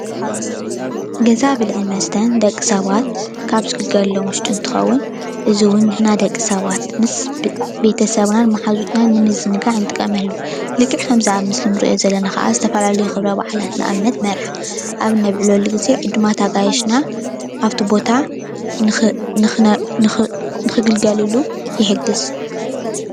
ገዛ ብልዕን መስተን ደቂ ሰባት ካብ ዝግልገሎም ውሽጢ እንትኸውን እዚ እውን ንሕና ደቂ ሰባት ምስ ቤ ቤተ ሰብናን ማሓዙትናን ንምዝንጋዕ ንጥቀመሉ። ልክዕ ከምዛ ኣብ ምስሊ ንርእዮ ዘለና ኻዓ ዝተፈላለዩ ኽብረ ባዓላት ንኣብነት መርዓ፡ ኣብ ነብዕለሉ ግዜ ዕዱማት ኣጋይሽና ኣብቲ ቦታ ንኽ ንኽነ ንኽእ ንኽግልገልሉ ይሕግዝ።